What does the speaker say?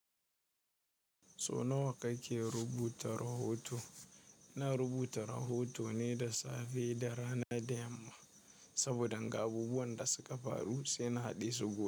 So nawa kake rubuta rahoto? Na rubuta rahoto ne da safe da rana da yamma saboda ga abubuwan da suka faru sai na haɗe su gobe.